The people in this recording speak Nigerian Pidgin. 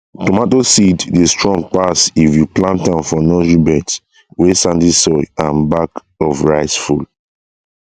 tomato seed dey strong pass if you plant am for nursery beds wey sandy soil and back of rice full